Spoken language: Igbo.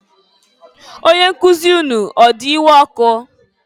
Onyenkuzi unu ọ di iwe ọkụ?